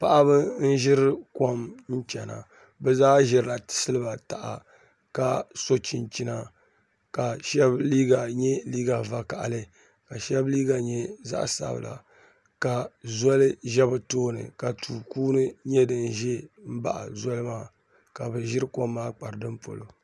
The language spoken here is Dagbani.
Paɣaba n ʒiri kom chɛna bi zaa ʒirila siliba taha ka so chinchina ka shab liiga nyɛ liiga vakaɣali ka shab liiga nyɛ zaɣ sabila ka zoli ʒɛ bi tooni ka tu kuuni nyɛ din ʒɛ n baɣa zoli maa ka bi ʒiri kom maa kpari ni polo